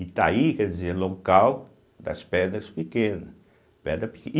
Itaí quer dizer local das pedras pequenas, pedra peque.